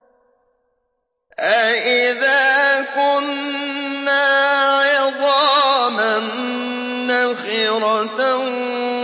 أَإِذَا كُنَّا عِظَامًا نَّخِرَةً